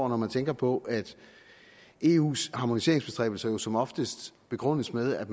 når man tænker på at eus harmoniseringsbestræbelser som oftest begrundes med at